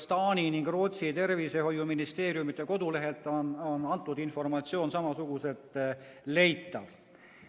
Taani ja Rootsi tervishoiuministeeriumi kodulehelt on see informatsioon samuti leitav.